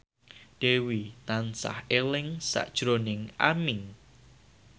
Dewi tansah eling sakjroning Aming